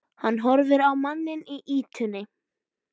Hann horfir á manninn í ýtunni.